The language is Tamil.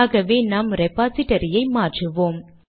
ஆகவே நாம் ரெபாசிடரியை மாற்றுவோம்